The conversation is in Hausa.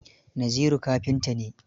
Naziru kafinta ne.